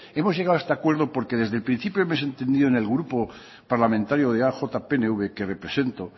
hemos llegado a este acuerdo porque desde el principio me he sentido en el grupo parlamentario eaj pnv que represento